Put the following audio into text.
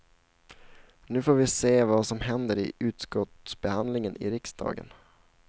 Nu får vi se vad som händer i utskottsbehandlingen i riksdagen.